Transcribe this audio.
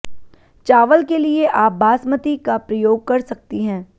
चावल के लिये आप बासमती का प्रयोग कर सकती हैं